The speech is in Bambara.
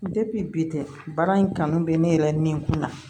bi tɛ baara in kanu bɛ ne yɛrɛ ni n kun na